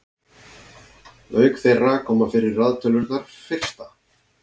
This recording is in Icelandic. auk þeirra koma fyrir raðtölurnar fyrsta